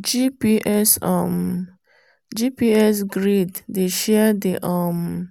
gps um grid dey share the um